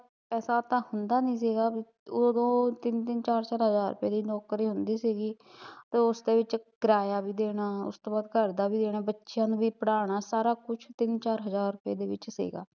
ਪੈਸਾ ਦਾ ਹੁੰਦਾ ਨੀ ਸੀਗਾ ਵੀ, ਓਦੋਂ ਤਿੰਨ ਤਿੰਨ ਚਾਰ ਚਾਰ ਹਜ਼ਾਰ ਵਾਲੀ ਨੌਕਰੀ ਹੁੰਦੀ ਸੀਗੀ ਤੇ ਉਸਦੇ ਵਿੱਚ ਕਿਰਾਇਆ ਵੀ ਦੇਣਾ, ਉਸਤੋਂ ਬਾਦ ਘਰ ਦਾ ਵੀ ਦੇਣਾ, ਬੱਚਿਆਂ ਨੂੰ ਵੀ ਪੜਾਉਣਾ ਸਾਰਾ ਕੁਛ ਤਿੰਨ ਚਾਰ ਹਜ਼ਾਰ ਰੁਪਏ ਦੇ ਵਿੱਚ ਸੀਗਾ